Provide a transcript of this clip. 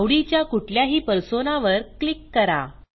आवडीच्या कुठल्याही पर्सोना वर क्लिक करा